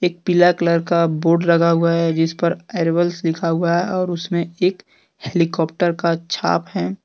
पीला कलर का बोर्ड लगा हुआ है जिस पर एराइवल्स लिखा हुआ है और उसमें एक हेलीकॉप्टर का छाप है।